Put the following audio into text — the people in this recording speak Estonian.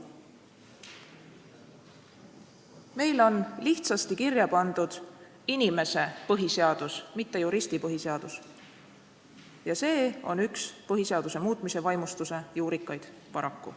Meil on lihtsasti kirja pandud inimese põhiseadus, mitte juristi põhiseadus, ja see on üks põhiseaduse muutmise vaimustuse juurikaid, paraku.